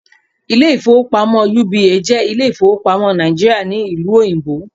Ilé ìfowópamọ́ UBA jẹ́ Ilé ìfowópamọ́ Nàìjíríà ní Ìlú Òyìnbó